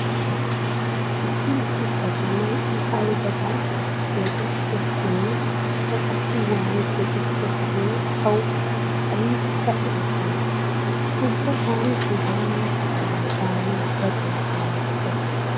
Issi issi katamay i aybidan keexettiyakkonne ikka qassi waani keexettiyakkonne tawu aybikka erettenna. Ubba taani hegaa mala kataman daanawu daruwa laamottays.